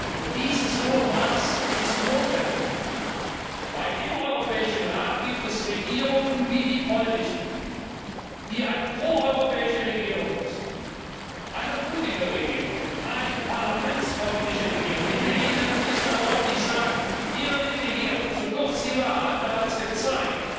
Und dieses hohe Maß ist notwendig, weil es im Europäischen Rat Regierungen gibt wie die polnische, die eine proeuropäische Regierung ist, eine mutige Regierung, eine parlamentsfreundliche Regierung! Ich will Ihnen, Herr Minister, deutlich sagen Ihre Rede hier so kurz sie war hat bereits gezeigt,